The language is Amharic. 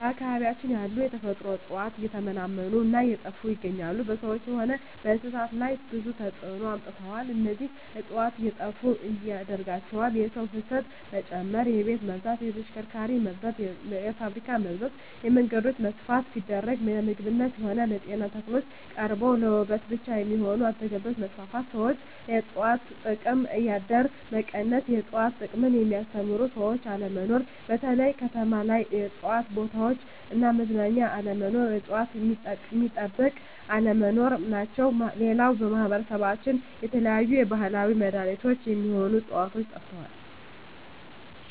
በአካባቢያችን ያሉ የተፈጥሮ እጽዋት እየተመናመኑ እና እየጠፋ ይገኛሉ በሰዎች ሆነ በእንስሳት ላይ ብዙ ተጽዕኖ አምጥተዋል እነዚህ እጽዋት እንዴጠፋ ያደረጋቸው የሰው ፋሰት መጨመር የቤት መብዛት የተሽከርካሪ መብዛት የፋብሪካ መብዛት የመንገዶች መስፍን ሲደረግ ለምግብነት ሆነ ለጤና ተክሎች ቀርተው ለዉበት ብቻ የሚሆኑ አትክልቶች መስፋፋት ሠዎች የእጽዋት ጥቅም ከአደር አደር መቀነስ የእጽዋት ጥቅምን የሚያስተምሩ ሰዎች አለመኖር በተለይ ከተማ ላይ የእጽዋት ቦታዎች እና መዝናኛ አለመኖር እጽዋት ሚጠበቅ አለመኖር ናቸው ሌላው በማህበረሰባችን የተለያዩ የባህላዊ መዳኔቾች ሚሆኑ ህጽዋቾች ጠፍተዋል